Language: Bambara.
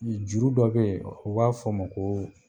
juru dɔ be ye, u b'a f'ɔ ma koo